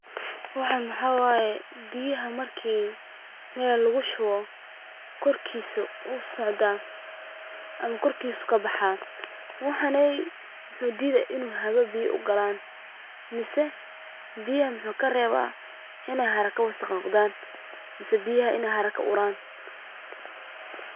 Waxaan waxa waye biyaha marki meel lagu shubo, kor kiisa ayuu kabaxaan, hawada ayuu kareeba biyaha, mise inaan wasaq noqdaan, mise inaay uraan.